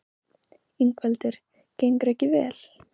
Ingveldur: Gengur ekki vel?